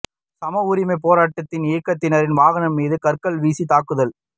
சம உரிமைப் பொராட்ட இயக்கத்தினரின் வாகனம் மீது கற்கள் வீசித் தாக்குதல்